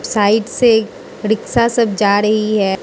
Side से rickshaw सब जा रही है।